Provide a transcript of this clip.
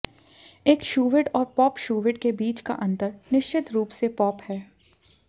एक शूविट और pop shuvit के बीच का अंतर निश्चित रूप से पॉप है